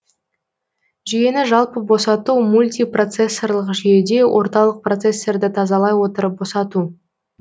жүйені жалпы босату мультипроцессорлық жүйеде орталық процессорды тазалай отырып босату